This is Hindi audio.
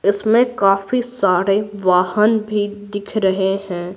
इसमें काफी सारे वाहन भी दिख रहे हैं।